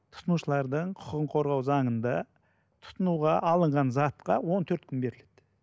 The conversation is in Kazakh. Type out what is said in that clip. тұтынушылардың құқығын қорғау заңында тұтынуға алынған затқа он төрт күн беріледі